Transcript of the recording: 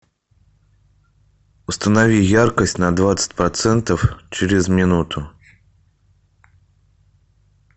установи яркость на двадцать процентов через минуту